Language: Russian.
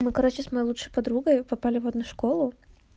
мы короче с моей лучшей подругой попали в одну школу